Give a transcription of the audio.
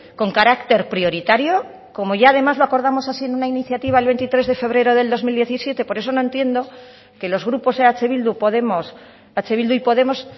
con carácter prioritario como ya además lo acordamos así en una iniciativa el veintitrés de febrero del dos mil diecisiete por eso no entiendo que los grupos eh bildu podemos eh bildu y podemos